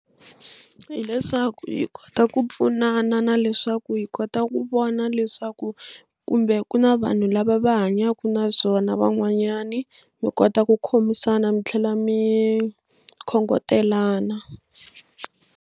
Hi leswaku hi kota ku pfunana na leswaku hi kota ku vona leswaku kumbe ku na vanhu lava va hanyaka na byona van'wanyani mi kota ku khomisana mi tlhela mi khongotelana.